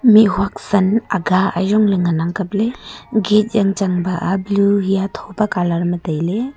mih huat san aga ajong ley ngan a kap ley gate yang chang ba a blue hi a tho pe colour ma tai ley.